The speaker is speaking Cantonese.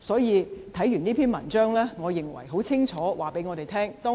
看過這篇文章，我認為文章已清楚告訴我們他的理念。